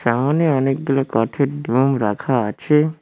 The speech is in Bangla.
এমনই অনেকগুলো কাঠের ডোম রাখা আছে।